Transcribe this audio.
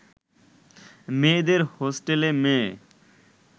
মেয়েদের হোস্টেলে মেয়ে